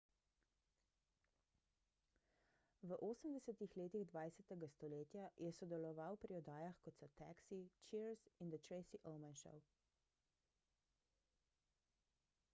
v 80 letih 20 stoletja je sodeloval pri oddajah kot so taxi cheers in the tracy ullman show